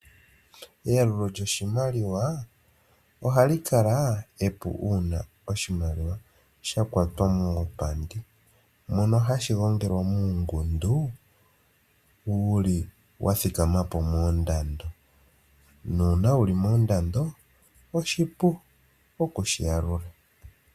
Eyalulo lyoshimaliwa ohali kala epu uuna oshimaliwa sha kwatwa puupandi, mono hashi gongelwa muungundu wuli wa thikama po moondando. Na uuna wuli moondando, oshipu oku shi yalula.